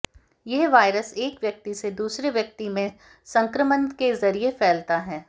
यह वायरस एक व्यक्ति से दूसरे व्यक्ति में संक्रमण के जरिए फैलता है